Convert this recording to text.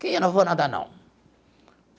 Que eu não vou nada, não.